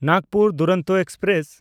Nagpur Duronto express